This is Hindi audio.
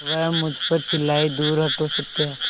वह मुझ पर चिल्लाए दूर हटो सत्या